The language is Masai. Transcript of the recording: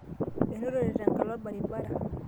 enotote tenkalo olbaribara